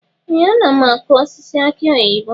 Ee! Ana m akụ osisi aki oyibo.